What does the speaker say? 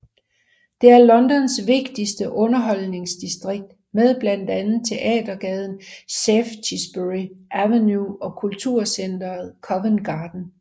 Det er Londons vigtigste underholdningsdistrikt med blandt andet teatergaden Shaftesbury Avenue og kulturcenteret Covent Garden